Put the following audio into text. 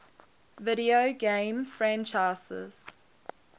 video game franchises